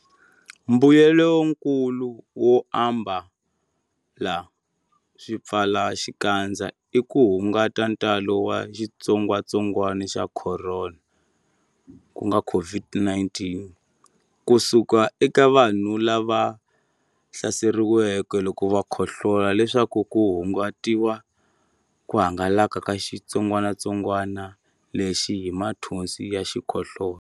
Mbuyelonkulu wo ambala swipfalaxikandza i ku hunguta ntalo wa xitsongwantsongwana xa Khorona, COVID-19, ku suka eka vanhu lava hlaseriweke loko va khohlola leswaku ku hungutiwa ku hangalaka ka xitsongwanatsongwana lexi hi mathonsi ya xikhohlola.